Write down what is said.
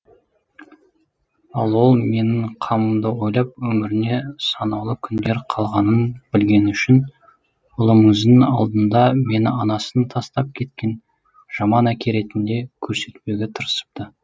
ал ол менің қамымды ойлап өміріне санаулы күндер қалғанын білгені үшін ұлымыздың алдында мені анасын тастап кеткен жаман әке ретінде көрсетпеуге тырысыпты